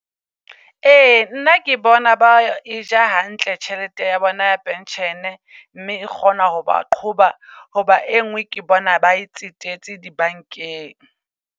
Ee, nna ke bona ba e ja hantle tjhelete ya bona ya Pension-e. Mme e kgona ho ba qhoba, hoba e ngwe ke bona ba e tsetetse di bank-eng.